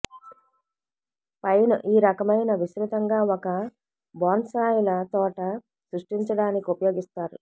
pine ఈ రకమైన విస్తృతంగా ఒక బోన్సాయ్ల తోట సృష్టించడానికి ఉపయోగిస్తారు